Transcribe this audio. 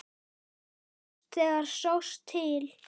Síðast þegar sást til